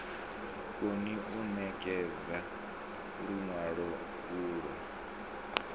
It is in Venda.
koni u ṋekedza luṅwalo ulwo